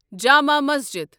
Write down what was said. Jama Masjid